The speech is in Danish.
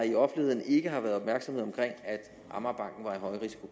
i offentligheden ikke har været opmærksomhed omkring at amagerbanken